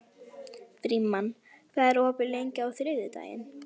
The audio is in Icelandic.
Frímann, hvað er opið lengi á þriðjudaginn?